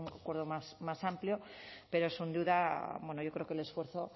acuerdo más amplio pero sin duda yo creo que el esfuerzo